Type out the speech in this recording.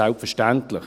Selbstverständlich.